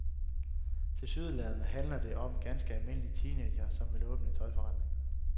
Tilsyneladende handler det om ganske almindelige teenagere, som vil åbne en tøjforretning.